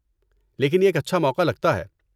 لیکن یہ ایک اچھا موقع لگتا ہے۔